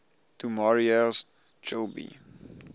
du maurier's trilby